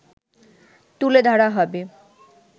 তুলে ধরা হবে